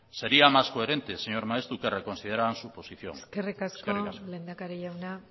sería más coherente señor maeztu que reconsideraran su posición eskerrik asko eskerrik asko lehendakari jauna